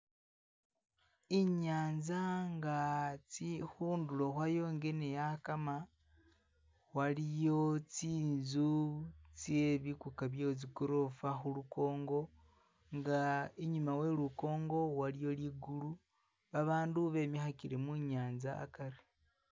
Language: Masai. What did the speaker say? Inyanza nga tsi khundulo khwayo nga neyakama waliyo tsinzu tse bikuka bye tsi golofa khulukongo nga inyuma we lukongo waliyo ligulu babandu bemikhakile munyanza akari